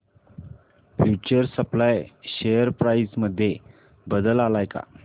future supply share price मध्ये बदल आलाय का